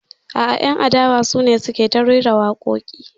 A'a, 'yan adawa su ne suka yi ta rera waƙoƙi.